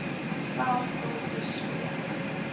self kom toespreek